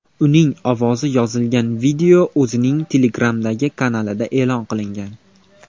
Uning ovozi yozilgan video o‘zining Telegram’dagi kanalida e’lon qilingan .